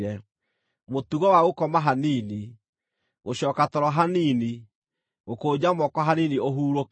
Mũtugo wa gũkoma hanini, gũcooka toro hanini, gũkũnja moko hanini ũhurũke;